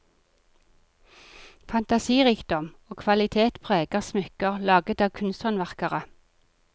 Fantasirikdom og kvalitet preger smykker laget av kunsthåndverkere.